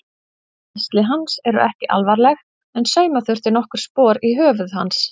Meiðsli hans eru ekki alvarleg en sauma þurfti nokkur spor í höfuð hans.